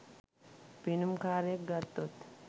පිනුම් කාරයෙක් ගත්තොත්